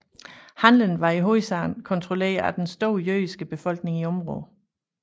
Handelen var i hovedsagen kontrolleret af den store jødiske befolkning i området